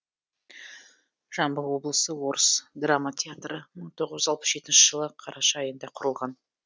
жамбыл облыстық орыс драма театры мың тоғыз жүз алпыс жетінші жылы қараша айында құрылған